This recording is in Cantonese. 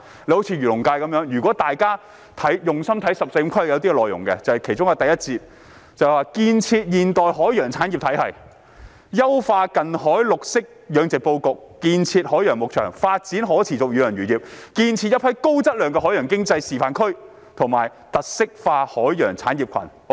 以漁農界為例，如果大家用心看"十四五"規劃的內容，其中一個第一節題為"建設現代海洋產業體系"，提出"優化近海綠色養殖布局，建設海洋牧場，發展可持續遠洋漁業。建設一批高質量海洋經濟發展示範區和特色化海洋產業群。